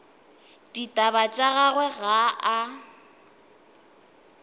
ditaba tša gagwe ga a